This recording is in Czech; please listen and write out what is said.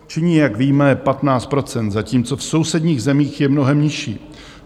Činí, jak víme, 15 %, zatímco v sousedních zemích je mnohem nižší.